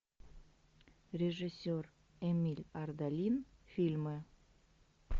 режиссер эмиль ардалин фильмы